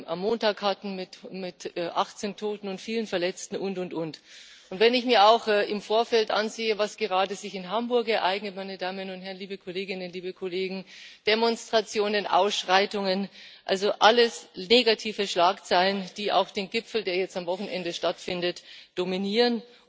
am Montag mit achtzehn Toten und vielen Verletzten hatten usw. Wenn ich mir auch im Vorfeld ansehe, was sich gerade in Hamburg ereignet, meine Damen und Herren, liebe Kolleginnen, liebe Kollegen Demonstrationen, Ausschreitungen, also alles negative Schlagzeilen, die auch den Gipfel, der jetzt am Wochenende stattfindet, dominieren.